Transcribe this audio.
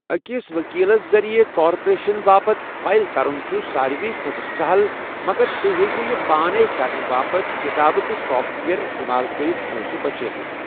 أکِس ؤکیٖلَس ذٔریعہٕ کارپوریشن باپتھ فائل کرُن چھُ ساروِی کھۄتہٕ سَہَل، مگر تُہۍ ہٮ۪کِو یہِ پانَے کرنہٕ باپتھ کتابہٕ تہٕ سافٹ ویئر استعمال کٔرِتھ پۄنٛسہٕ بچٲیِتھ۔